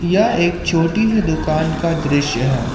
यह एक छोटी सी दुकान का दृश्य है।